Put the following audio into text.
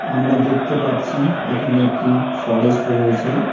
আমরা দেখতে পাচ্ছি এখানে একটি ফরেস্ট রয়েছে।